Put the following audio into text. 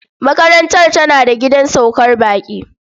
Makarantar tana da gidan saukar baƙi.